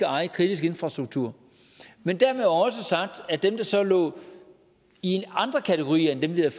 eje kritisk infrastruktur men dermed også sagt at de der så lå i andre kategorier end dem vi havde